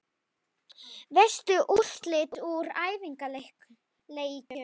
Veistu úrslit úr æfingaleikjum?